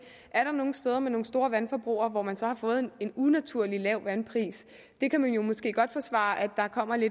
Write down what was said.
er nogle steder med nogle store vandforbrug hvor man så har fået en unaturlig lav vandpris man kan måske godt forsvare at der kommer